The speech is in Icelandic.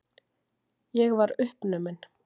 Ég var uppnumin.